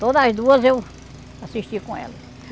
Toda as duas eu assisti com ela.